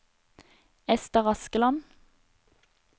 Esther Askeland